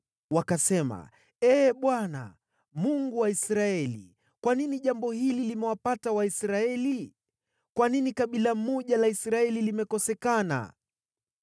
Wakasema, “Ee Bwana , Mungu wa Israeli, kwa nini jambo hili limewapata Waisraeli? Kwa nini kabila moja la Israeli limekosekana?”